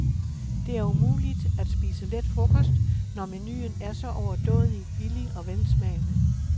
Det er umuligt at spise let frokost, når menuen er så overdådig, billig og velsmagende.